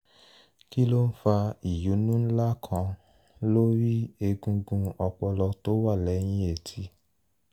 kí ló ń fa ìyúnnú ńlá kan lórí egungun ọpọlọ tó wà lẹ́yìn etí?